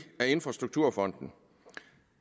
af infrastrukturfonden